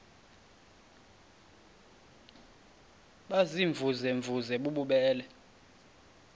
baziimvuze mvuze bububele